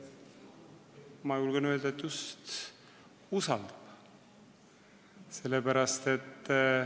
Ma julgen öelda, et just usaldab.